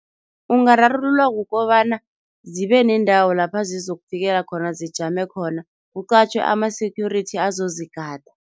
Ungararululwa kukobana zibe nendawo lapha zizokufikela khona, zijame khona, kuqatjhwe ama-security azozigada.